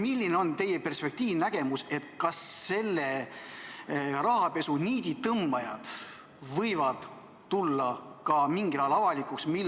Milline on teie perspektiiv, nägemus, kas selle rahapesu niiditõmbajad võivad tulla mingil ajal avalikuks?